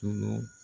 Tunu